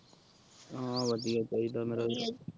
ਹਾਂ ਵਧੀਆ ਚਾਹੀਦਾ ਫਿਰ